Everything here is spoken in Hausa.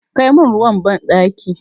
Kai min ruwa banɗaki!